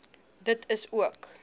dit is ook